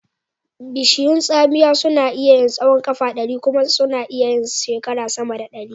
Bishiyun tsamiya suna iya yin tsahon ƙafa ɗari kuma sana yin sama da shekara ɗari.